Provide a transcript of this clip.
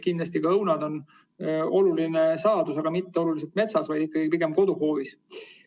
Kindlasti on ka õunad oluline saadus, aga mitte nii väga metsas, vaid ikkagi pigem koduhoovis.